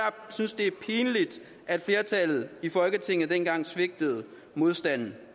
synes det er pinligt at flertallet i folketinget dengang svigtede modstanden